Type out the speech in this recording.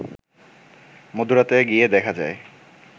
মধ্যরাতে গিয়ে দেখা যায়